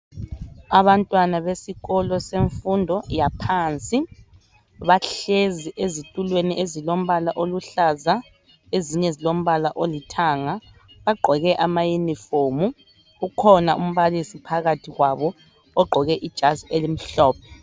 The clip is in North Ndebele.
Abantwana besikolo semfundo yaphansi bahlezi ezitulweni ezilombala oluhlaza ezinye zilombala olithanga bagqoke amayunifomu ukhona umbalisi phakathi kwabo ugqoke ijazi elimhlophe.